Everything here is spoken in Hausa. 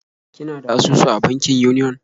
Kina da asusu a bankin Union?